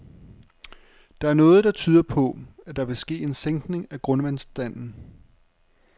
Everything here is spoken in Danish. Der er noget, der tyder på, at der vil ske en sænkning af grundvandsstanden.